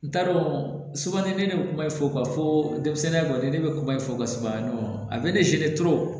N t'a dɔn sɔɔni tɛ ne bɛ kuma i fɔ ka fɔ denmisɛnninya kɔni ne bɛ kuma in fɔ ka saba ɲɔgɔn a bɛ ne selen